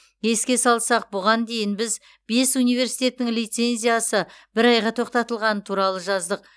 еске салсақ бұған дейін біз бес университеттің лицензиясы бір айға тоқтатылғаны туралы жаздық